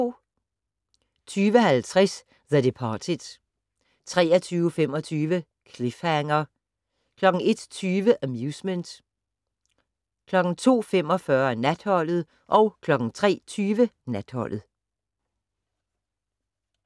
20:50: The Departed 23:25: Cliffhanger 01:20: Amusement 02:45: Natholdet 03:20: Natholdet